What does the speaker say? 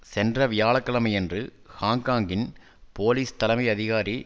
சென்ற வியாழ கிழமையன்று ஹாங்க்காங்கின் போலீஸ் தலைமை அதிகாரி